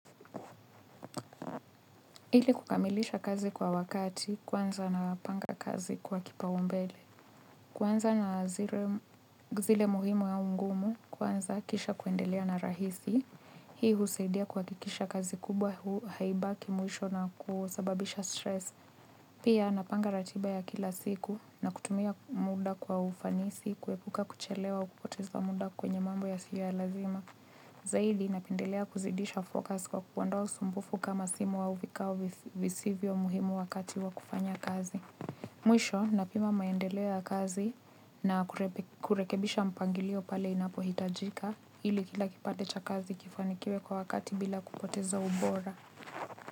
Ili kukamilisha kazi kwa wakati, kwanza na panga kazi kwa kipaumbele. Kuanza na zile muhimu au ngumu, kwanza, kisha kuendelea na rahisi. Hii husaidia kuhakikisha kazi kubwa haibaki mwisho na kusababisha stress. Pia, napanga ratiba ya kila siku na kutumia muda kwa ufanisi, kuepuka kuchelewa au kupoteza muda kwenye mambo yasio ya lazima. Zaidi, napendelea kuzidisha focus kwa kuondoa usumbufu kama simu au vikao visivyo muhimu wakati wa kufanya kazi. Mwisho, napima maendeleo ya kazi na kurekebisha mpangilio pale inapohitajika, ili kila kipande cha kazi kifanikiwe kwa wakati bila kupoteza ubora.